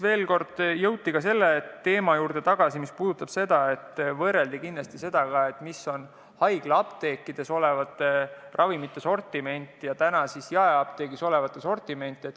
Jõuti veel kord tagasi ka selle juurde, et võrreldi seda, milline on haiglaapteekides olevate ravimite sortiment ja jaeapteekides olevate ravimite sortiment.